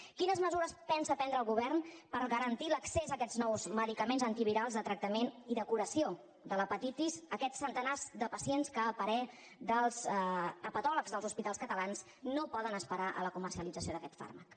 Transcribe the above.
quines mesures pensa prendre el govern per garantir l’accés a aquests nous medicaments antivirals de tractament i de curació de l’hepatitis a aquests centenars de pacients que a parer dels hepatòlegs dels hospitals catalans no poden esperar a la comercialització d’aquest fàrmac